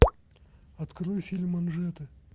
открой фильм манжеты